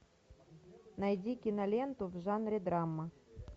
найди киноленту в жанре драма